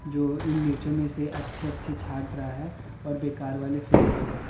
जो इन मिर्चो में से अच्छी अच्छी छांट रहा है औऱ बेकार वाली फैंक देगा।